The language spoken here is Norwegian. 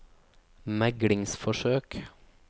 meglingsforsøk